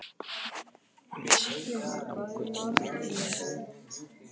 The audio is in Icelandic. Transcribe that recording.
Hún vissi ekki hvað langur tími leið.